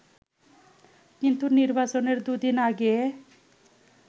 কিন্তু নির্বাচনের দুদিন আগে